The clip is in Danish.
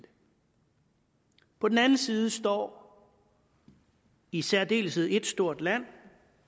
på den anden side står i særdeleshed ét stort land